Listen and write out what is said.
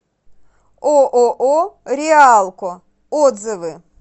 ооо реалко отзывы